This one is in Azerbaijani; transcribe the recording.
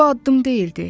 Bu addım deyildi.